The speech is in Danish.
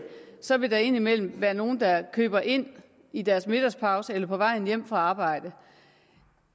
så vil der ind imellem være nogle der køber ind i deres middagspause eller på vej hjem fra arbejde